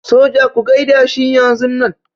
Soja ku gaida shi yanzunnan.